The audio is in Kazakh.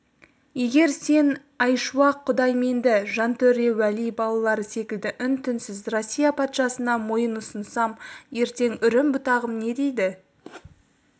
егер мен айшуақ құдайменді жантөре уәли балалары секілді үн-түнсіз россия патшасына мойын ұсынсам ертең үрім-бұтағым не дейді